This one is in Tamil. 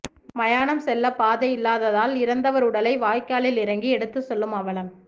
மயானம் செல்ல பாதை இல்லாததால் இறந்தவர் உடலை வாய்க்காலில் இறங்கி எடுத்து செல்லும் அவலம்